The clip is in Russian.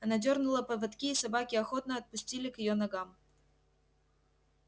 она дёрнула поводки и собаки охотно отступили к её ногам